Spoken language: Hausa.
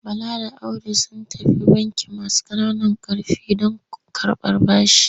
Bala da Audu sun tafi bankin masu ƙananan ƙarfi don karɓar bashi.